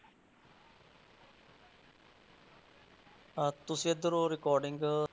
ਤਾਂ ਤੁਸੀਂ ਇੱਧਰੋਂ recording